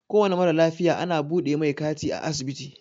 Kowane mara lafiya ana buɗe mai kati a asibiti.